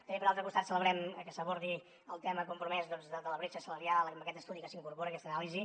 també per altre costat celebrem que s’abordi el tema compromès de la bretxa salarial amb aquest estudi que s’incorpora aquesta anàlisi